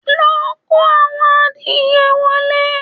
Lọ kó àwọn adìẹ wọlé?